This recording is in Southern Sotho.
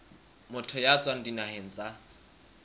motho ya tswang dinaheng tsa